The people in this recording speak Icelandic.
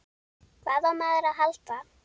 Hvað á maður að halda?